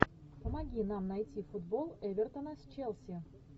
помоги нам найти футбол эвертона с челси